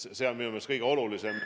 See on minu meelest kõige olulisem.